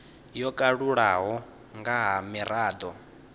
yo kalulaho nga ha mirado